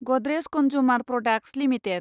Godrej consumer products limited